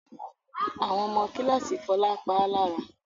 Àwọn ọmọ kíláàsì Fọlá pa á lára.